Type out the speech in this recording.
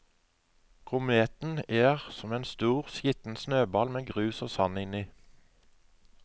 Kometen er som en stor, skitten snøball med grus og sand inni.